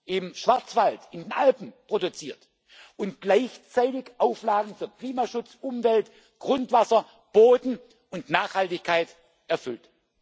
im Schwarzwald, in den Alpen, und gleichzeitig Auflagen für Klimaschutz, Umwelt, Grundwasser, Boden und Nachhaltigkeit erfüllt.